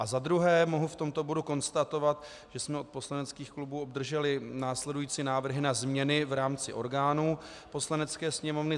A za druhé mohu v tomto bodu konstatovat, že jsme od poslaneckých klubů obdrželi následující návrhy na změny v rámci orgánů Poslanecké sněmovny.